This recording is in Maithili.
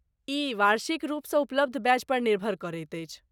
ई वार्षिकरूपसँ उपलब्ध बैच पर निर्भर करैत अछि।